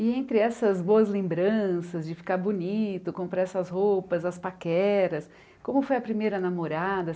E entre essas boas lembranças de ficar bonito, comprar essas roupas, as paqueras, como foi a primeira namorada?